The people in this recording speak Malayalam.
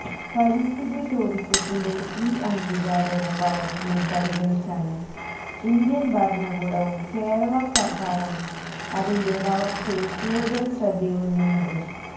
പരിസ്ഥിതി ടൂറിസത്തിന്റെ ഈ അംഗീകാരവും വളര്ച്ചയും പരിഗണിച്ചാണ് ഇന്ത്യന് ഭരണകൂടവും കേരള സര്ക്കാറും അതിന്റെ വളര്ച്ചയില് കൂടുതല് ശ്രദ്ധയൂന്നുന്നതും